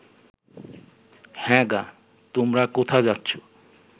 হ্যাঁ গা তোমরা কোথা যাচ্ছ